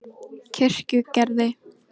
Kirkjugerði